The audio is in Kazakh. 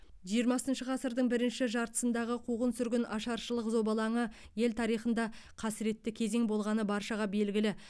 жиырмасыншы ғасырдың бірінші жартысындағы қуғын сүргін ашаршылық зобалаңы ел тарихында қасіретті кезең болғаны баршаға белгілі